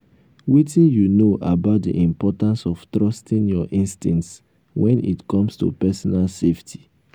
wetin you know about di importance of trusting your instincts when it comes to personal safety?